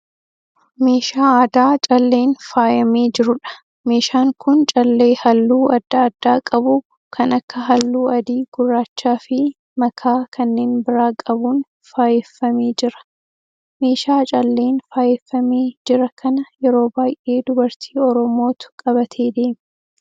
Meeshaa aadaa calleen faayyamee jiruudha. Meeshaan kun callee halluu adda addaa qabu kan akka halluu adii, gurraacha fi makaa kanneen bira qabuun faayyeffamee jira. Meeshaa calleen faayyefamee jira kana yeroo baay'ee dubartii Oromootu qabatee deema.